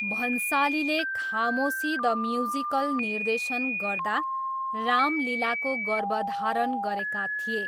भन्सालीले Khamoshi the musical निर्देशन गर्दा राम लीलाको गर्भधारण गरेका थिए।